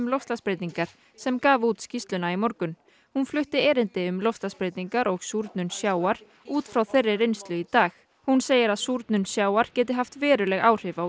loftslagsbreytingar sem gaf út skýrslu í morgun hún flutti erindi um loftslagsbreytingar og súrnun sjávar út frá þeirri reynslu í dag hún segir að súrnun sjávar geti haft veruleg áhrif á